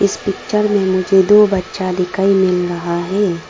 इस पिक्चर में मुझे दो बच्चा दिखाई मिल रहा है।